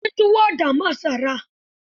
Sun yi tuwo da masara.